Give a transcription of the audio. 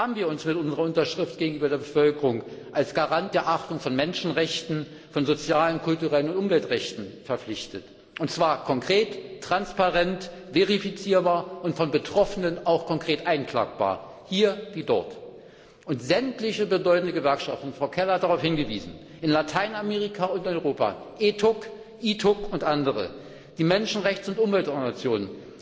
Haben wir uns durch unsere Unterschrift gegenüber der Bevölkerung als Garant der Achtung von Menschenrechten, von sozialen, kulturellen und Umweltrechten verpflichtet und zwar konkret, transparent, verifizierbar und von Betroffenen auch konkret einklagbar, hier wie dort? Sämtliche bedeutende Gewerkschaften Frau Keller hat darauf hingewiesen in Lateinamerika und in Europa, ETUC, ITUC und andere, die Menschenrechts und Umweltorganisationen,